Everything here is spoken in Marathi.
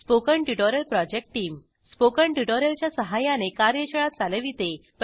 spoken tutorial project team spoken tutorial च्या सहाय्याने कार्यशाळा चालविते